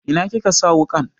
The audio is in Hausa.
Ina kika sa wuƙan?